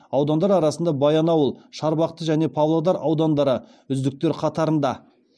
аудандар арасында баянауыл шарбақты және павлодар аудандары үздіктер қатарында